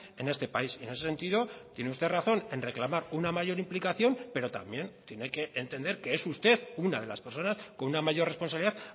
en este país en ese sentido tiene usted razón en reclamar una mayor implicación pero también tiene que entender que es usted una de las personas con una mayor responsabilidad